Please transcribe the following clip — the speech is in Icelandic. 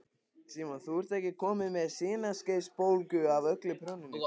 Símon: Þú ert ekkert komin með sinaskeiðabólgu af öllu prjóninu?